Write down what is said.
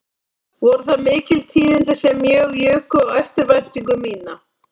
Voru það mikil tíðindi sem mjög juku á eftirvæntingu mína